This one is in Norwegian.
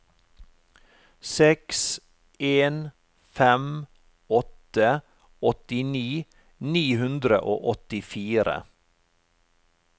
seks en fem åtte åttini ni hundre og åttifire